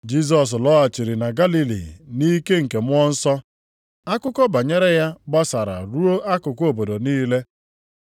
Jisọs lọghachiri na Galili nʼike nke Mmụọ Nsọ. Akụkọ banyere ya gbasara ruo akụkụ obodo niile.